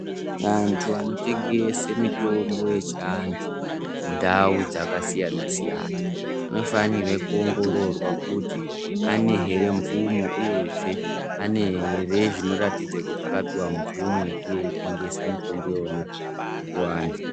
Andu anotengese mitombo yechiandu mundau dzakasiyana siyana anofanirwa kuoongororwa kuti ane here mvumo uyezve ane here zvinoratidza kuti akapuhwa mvumo yekuve eyitengese mitombo yona kuvandu.